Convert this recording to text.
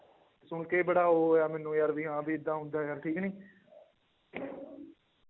ਸੁਣਕੇ ਹੀ ਬੜਾ ਉਹ ਹੋਇਆ ਮੈਨੂੰ ਯਾਰ ਵੀ ਹਾਂ ਵੀ ਏਦਾਂ ਹੁੰਦਾ ਯਾਰ ਠੀਕ ਨੀ